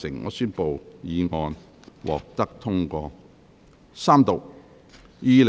我宣布議案獲得通過。